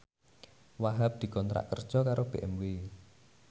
Wahhab dikontrak kerja karo BMW